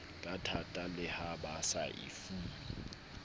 kathata le ha baseba efuwa